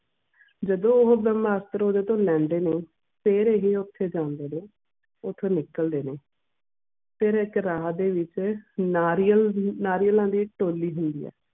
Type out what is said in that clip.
ਜਦੋਂ ਉਹ ਬ੍ਰਹਮਸਤਰ ਓਹਦੇ ਤੋਂ ਲੈਂਦੇ ਨੇ ਫੇਰ ਉਹ ਓਥੇ ਜਾਂਦੇ ਨੇ ਓਥੋਂ ਨਿਕਲਦੇ ਨੇ ਫੇਰ ਇੱਕ ਰਾਹ ਦੇ ਵਿਚ ਨਾਰੀਅਲ ਦੀ ਨਾਰਿਯਾਲਾਂ ਦੀ ਥੈਲੀ ਹੁੰਦੀ ਆ